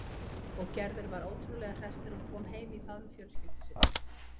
Og Gerður var ótrúlega hress þegar hún kom heim í faðm fjölskyldu sinnar.